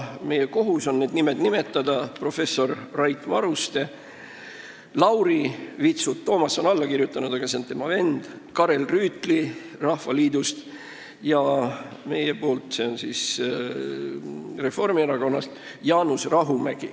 Meie kohus on nende nimed nimetada: professor Rait Maruste, Lauri Vitsut – alla on kirjutanud Toomas, aga see on tema vend –, Karel Rüütli Rahvaliidust ja Jaanus Rahumägi meilt, s.o Reformierakonnast.